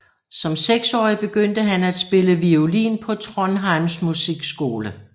Som seksårig begyndte han at spille violin på Trondheims musikskole